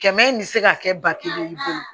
Kɛmɛ in bɛ se ka kɛ ba kelen i bolo